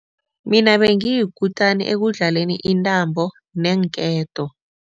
Mina bengiyikutani ekudlaleni intambo neenketo.